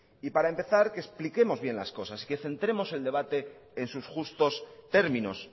para empezar que expliquemos bien las cosas que centremos el debate en sus justos términos